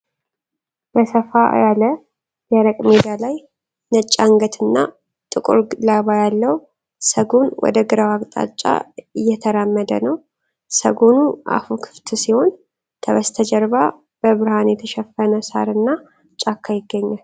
በሰፋ ያለ፣ ደረቅ ሜዳ ላይ፣ ነጭ አንገትና ጥቁር ላባ ያለው ሰጎን ወደ ግራው አቅጣጫ እየተራመደ ነው። ሰጎኑ አፉ ክፍት ሲሆን፣ ከበስተጀርባ በብርሃን የተሸፈነ ሳርና ጫካ ይገኛል።